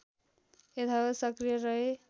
यथावत सक्रिय रहे